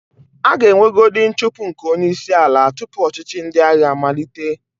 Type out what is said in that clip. A ga-enwegodi nchụpụ nke onyeísīala tupu ọchịchị ndị agha amalite.